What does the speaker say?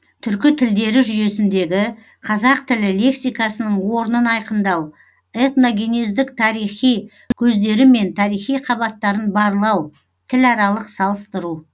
түркі тілдері жүйесіндегі қазақ тілі лексикасының орнын айқындау этногенездік тарихи көздері мен тарихи қабаттарын барлау тіларалық салыстыру